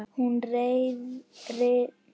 Hún ryðst inn heima.